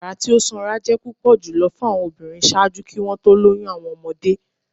Yara ti o sanra jẹ pupọ julọ fun awọn obinrin ṣaaju ki wọn to loyun awọn ọmọde.